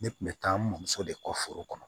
Ne kun bɛ taa n bamuso de kɔ foro kɔnɔ